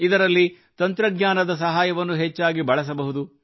ಇದರಲ್ಲಿ ತಂತ್ರಜ್ಞಾನದ ಸಹಾಯವನ್ನು ಹೆಚ್ಚಾಗಿ ಬಳಸಬಹುದು